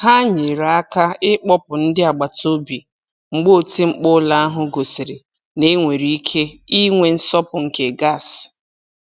Ha nyere aka ịkpọpụ ndị agbataobi mgbe oti mkpu ụlọ ahụ gosiri na e nwere ike inwe nsọpụ nke gas.